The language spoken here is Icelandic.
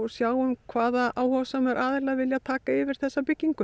sjáum hvaða áhugasömu aðilar vilji taka yfir þessa byggingu